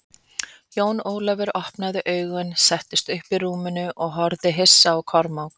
Jón Ólafur opnaði augun, settist upp í rúminu og horfði hissa á Kormák.